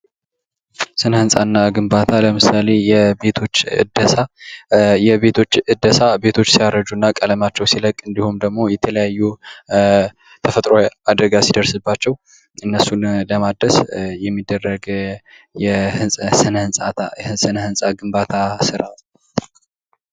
ስነ ህንፃና ግንባታ ለምሳሌ የቤቶች እደሳ የቤቶች ዕደሳ ቤቶች ሲያረጅ እና ቀለማቸው ሲለቅ እንዲሁም የተለያዩ ተፈጥሮአዊ አደጋ ሲደርስባቸው እነሱን ለማደስ የሚደረግ የስነ ህንፃ ግንባታ ስራ ነው።